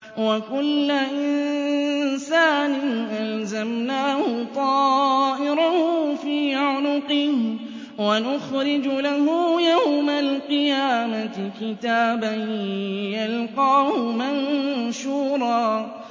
وَكُلَّ إِنسَانٍ أَلْزَمْنَاهُ طَائِرَهُ فِي عُنُقِهِ ۖ وَنُخْرِجُ لَهُ يَوْمَ الْقِيَامَةِ كِتَابًا يَلْقَاهُ مَنشُورًا